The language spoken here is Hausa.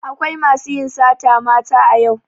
Akwai masu yin sata mata a yau.